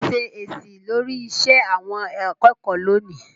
pèsè èsì lórí iṣẹ́ àwọn akẹ́kọ̀ọ́ lónìí.